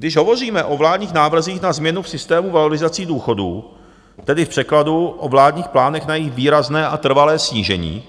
Když hovoříme o vládních návrzích na změnu v systému valorizací důchodů, tedy v překladu o vládních plánech na jejich výrazné a trvalé snížení,